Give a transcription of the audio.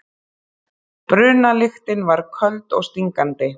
Brunalyktin var köld og stingandi.